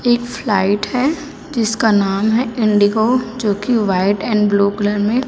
एक फ्लाइट है जिसका नाम है इंडिगो जो कि व्हाइट एंड ब्लू कलर में--